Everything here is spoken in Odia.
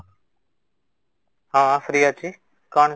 ହଁ free ଅଛି କ'ଣ?